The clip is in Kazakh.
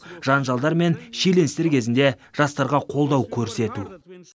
жанжалдар мен шиеленістер кезінде жастарға қолдау көрсету